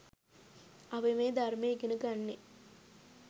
අපි මේ ධර්මය ඉගෙන ගන්නේ